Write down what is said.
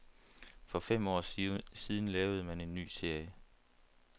For fem år siden lavede man en ny serie.